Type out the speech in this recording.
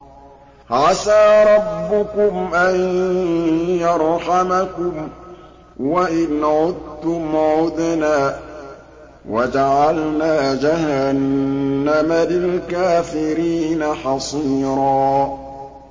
عَسَىٰ رَبُّكُمْ أَن يَرْحَمَكُمْ ۚ وَإِنْ عُدتُّمْ عُدْنَا ۘ وَجَعَلْنَا جَهَنَّمَ لِلْكَافِرِينَ حَصِيرًا